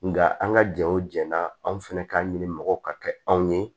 Nga an ka jɛw jɛ n'a anw fɛnɛ k'an ɲini mɔgɔw ka kɛ anw ye